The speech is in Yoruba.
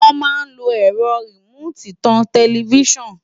Wọ́n mà lo ẹ̀rọ rìmóòtì tan tẹlifíṣọ́ọ̀nù